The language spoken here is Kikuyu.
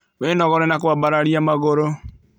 Wĩnogore na kũambararia magũrũ